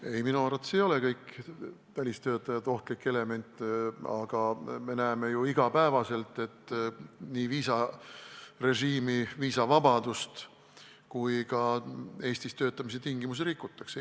Ei, minu arvates ei ole kõik välistöötajad ohtlik element, aga me näeme ju iga päev, kuidas nii viisarežiimi, viisavabadust kui ka Eestis töötamise tingimusi rikutakse.